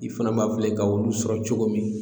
I fana b'a filɛ i ka olu sɔrɔ cogo min